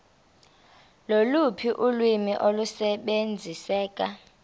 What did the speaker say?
loluphi ulwimi olusebenziseka